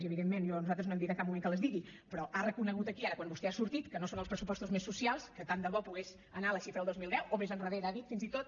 i evidentment nosaltres no hem dit en cap moment que les digui però ha reconegut aquí ara quan vostè ha sortit que no són els pressupostos més socials que tant de bo pogués anar a la xifra del dos mil deu o més endarrere ha dit fins i tot